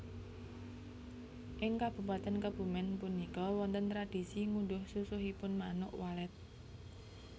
Ing Kabupaten Kebumen punika wonten tradisi ngunduh susuhipun Manuk Walet